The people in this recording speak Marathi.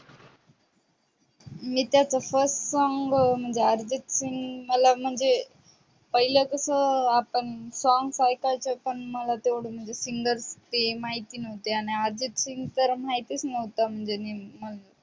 मी त्याचा first song म्हणजे अर्जित सिंग मला म्हणजे पहिले कस आपण. songs ऐकायचं म्हणजे तेवढा singer ते माहिती नव्हते. अर्जित सिंग माहितीच नव्हतं म्हणजे नेमकं